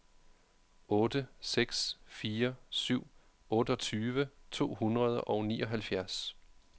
otte seks fire syv otteogtyve to hundrede og nioghalvfjerds